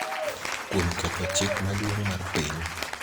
kuom ketho chik maduong� mar piny.